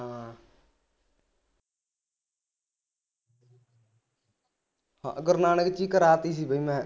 ਹਾਂ ਗੁਰੂ ਨਾਨਕ ਵਿਚ ਹੀ ਕਰਾ ਤੀ ਸੀ ਬਈ ਮੈਂ